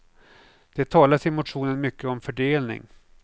Det talas i motionen mycket om fördelning.